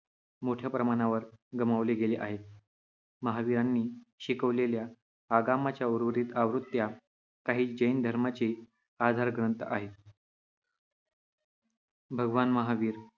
मोठ्या प्रमाणावर गमावले गेले आहेत. महावीरांनी शिकवलेल्या आगमाच्या उर्वरित आवृत्त्या काही जैन धर्माचे आधार ग्रंथ आहेत. भगवान महावीर